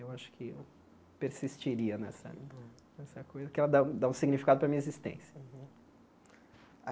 Eu acho que eu persistiria nessa nessa coisa, que ela dá dá um significado para a minha existência.